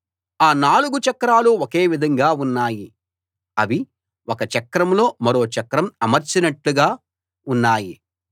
ఆ నాలుగు చక్రాలు ఒకే విధంగా ఉన్నాయి అవి ఒక చక్రంలో మరో చక్రం అమర్చినట్టుగా ఉన్నాయి